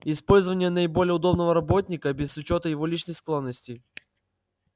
использование наиболее удобного работника без учёта его личных склонностей